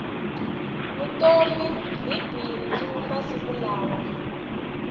vutomi hi bindzu masiku lawa